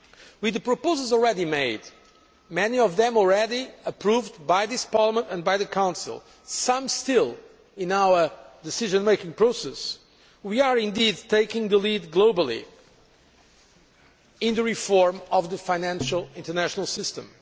With the proposals already made many of them already approved by this Parliament and by the Council, some still in our decision making process we are indeed taking the lead globally in the reform of the financial international system.